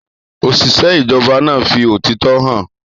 Òṣìṣẹ́ ìjọba náà fi òtítọ́ hàn.